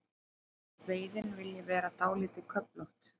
Veiðin vilji vera dálítið köflótt.